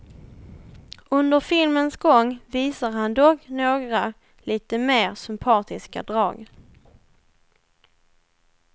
Under filmens gång visar han dock några lite mer sympatiska drag.